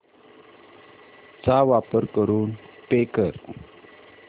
चा वापर करून पे कर